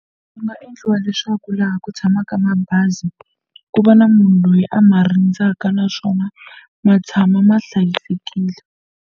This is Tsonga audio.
Swi nga endliwa leswaku laha ku tshamaka mabazi ku va na munhu loyi a ma rindzaka naswona ma tshama ma hlayisekile.